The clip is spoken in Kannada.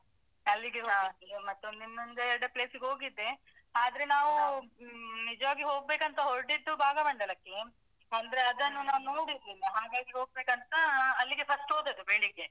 ಹಾ. ಅಲ್ಲಿಗೆ ಹೋಗಿದ್ವಿ. ಮತ್ತೊಂದು ಇನ್ನೊಂದ ಎರಡ place ಗೆ ಹೋಗಿದ್ದೆ. . ಆದ್ರೆ ನಾವು ಹ್ಮ್ ನಿಜವಾಗಿ ಹೋಗ್ಬೇಕು ಅಂತ ಹೋರಟಿದ್ದು ಭಾಗಮಂಡಲಕ್ಕೆ ಅಂದ್ರೆ ಅದನ್ನು ನಾನು ನೋಡಿರ್ಲಿಲ್ಲ ಹಾಗಾಗಿ ಹೋಗ್ಬೇಕಂತ ಅಹ್ ಅಲ್ಲಿಗೆ first ಹೋದದ್ದು ಬೆಳಿಗ್ಗೆ.